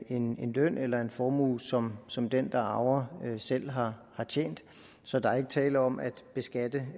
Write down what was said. en løn eller en formue som som den der arver selv har tjent så der er ikke tale om at beskatte